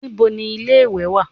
Níbo ni ilé-ìwẹ̀ wà?